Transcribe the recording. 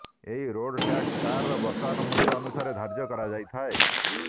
ଏହି road tax କାରର ବର୍ତ୍ତମାନ ମୂଲ୍ୟ ଅନୁସାରେ ଧାର୍ଯ୍ୟ କରାଯାଇଥାଏ